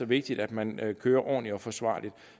vigtigt at man kører ordentligt og forsvarligt